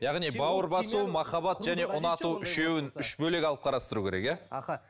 яғни бауыр басу махаббат және ұнату үшеуін үш бөлек алып қарастыру керек иә аха